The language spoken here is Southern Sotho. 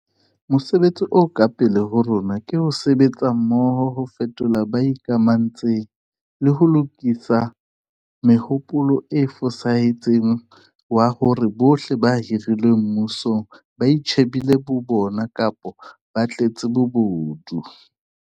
Mosebetsi o ka pele ho rona ke ho sebetsa mmoho ho fothola ba sa ikamantshe ng, le ho lokisa mohopolo o fosahetseng wa hore bohle ba hirilweng mmusong ba itjhe bile bo bona kapa ba tletse bobodu.